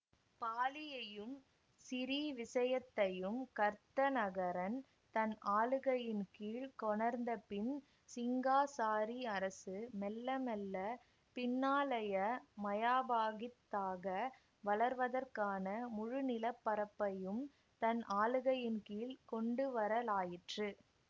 பாலியையும் சிறீவிசயத்தையும் கர்த்தநகரன் தன் ஆளுகையின் கீழ் கொணர்ந்த பின் சிங்காசாரி அரசு மெல்ல மெல்ல பின்னாளைய மயாபாகித்தாக வளர்வதற்கான முழுநிலப்பரப்பையும் தன் ஆளுகையின் கீழ் கொண்டுவரலாயிற்று